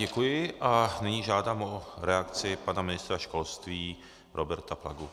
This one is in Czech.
Děkuji a nyní žádám o reakci pana ministra školství Roberta Plagu.